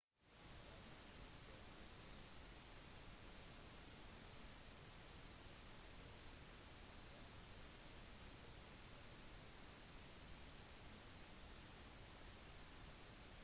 selv med disse anklagene vant ma håndfast på en plattform som fremmer tettere bånd med fastlandet i kina